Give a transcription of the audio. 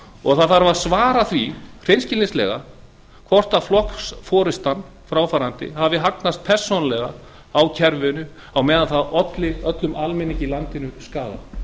og það þarf að svara því hreinskilnislega hvort fráfarandi flokksforusta hafi hagnast persónulega á kerfinu á meðan það olli öllum almenningi í landinu skaða